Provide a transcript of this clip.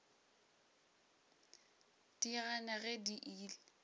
di gana ge di ile